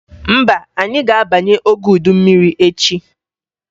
Mba, anyị ga-abanye oge udu mmiri echi